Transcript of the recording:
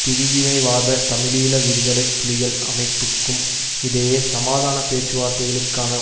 பிரிவினைவாத தமிழீழ விடுதலை புலிகள் அமைப்புக்கும் இடையே சமாதான பேச்சுவார்த்தைகளுக்கான